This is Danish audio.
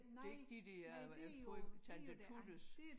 Det ikke de der øh Tante Tuttes